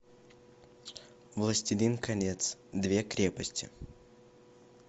властелин колец две крепости